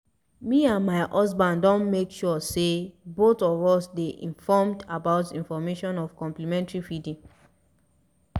me and my husband don make suresey both of us dey informed about introduction of complementary feeding